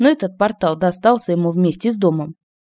ну этот портал достался ему вместе с домом